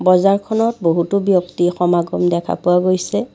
বজাৰখনত বহুতো ব্যক্তি সমাগম দেখা গৈছে।